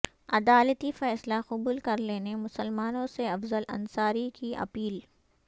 عدالتی فیصلہ قبول کرلینے مسلمانوں سے افضل انصاری کی اپیل